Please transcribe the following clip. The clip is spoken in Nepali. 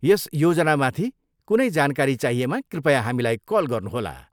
यस योजनामाथि कुनै जानकारी चाहिएमा कृपया हामीलाई कल गर्नुहोला।